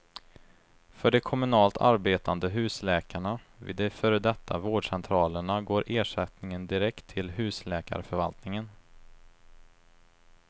För de kommunalt arbetande husläkarna, vid de före detta vårdcentralerna, går ersättningen direkt till husläkarförvaltningen.